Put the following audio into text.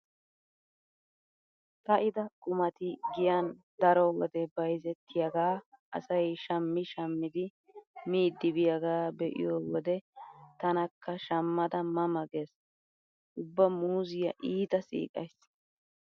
Ka'ida qumati giyan daro wode bayzettiyagaa asay shammi shammidi miiddi biyagaa be'iyo wode tanakka shammada ma ma gees. Ubba muuzziya iita siiqays.